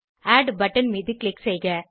add button மீது click செய்க